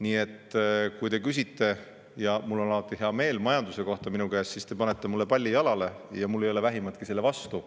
Nii et kui te küsite – ja mul on alati hea meel – majanduse kohta minu käest, siis te panete mulle palli jalale ja mul ei ole vähimatki selle vastu.